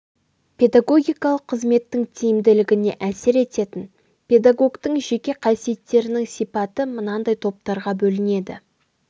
педагогикалық қызметтің тиімділігіне әсер ететін педагогтің жеке қасиеттерінің сипаты мынандай топтарға бөлінеді